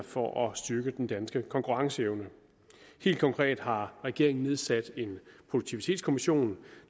for at styrke den danske konkurrenceevne helt konkret har regeringen nedsat en produktivitetskommission